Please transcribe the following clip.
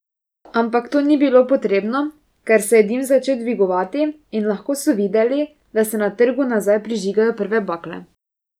Ampak to ni bilo potrebno, ker se je dim začel dvigovati in lahko so videli, da se na trgu nazaj prižigajo prve bakle.